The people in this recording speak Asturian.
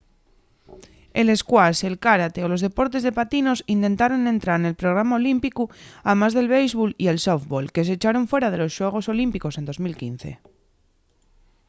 el squash el kárate o los deportes de patinos intentaron entrar nel programa olímpicu amás del béisbol y el sóftbol que s’echaron fuera de los xuegos olímpicos en 2005